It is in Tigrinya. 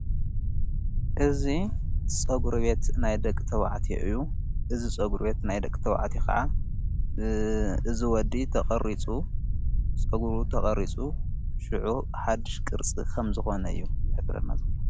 እዝ ጸጕሪቤት ናይ ደቅ ተዉዕትየ እዩ ።እዝ ጸጕሩቤት ናይ ደቂ ተውዕቲ ኸዓ እዝ ወዲ ጸጕሩ ተቐሪጹ ሽዑ ሓድሽ ቅርጽ ኸም ዝኾነ እዩ ።ዘኅብርናዘሎ፤